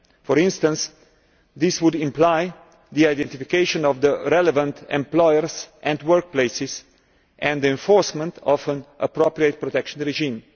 For instance, this would necessitate identification of the relevant employers and workplaces and the enforcement of an appropriate protection regime.